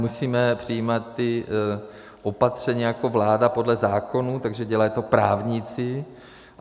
Musíme přijímat ta opatření jako vláda podle zákonů, takže dělají to právníci.